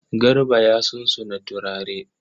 Garba ya sunsuna turare.